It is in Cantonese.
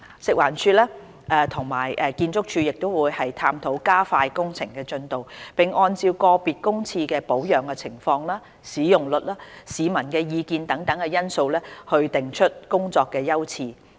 食環署會與建築署探討加快工程進度，並按照個別公廁的保養情況、使用率、市民意見等因素，定出工作優次。